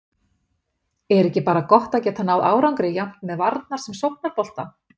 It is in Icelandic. Er ekki bara gott að geta náð árangri jafnt með varnar- sem sóknarbolta?